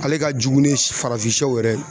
Ale ka jugu ni farafinsɛw yɛrɛ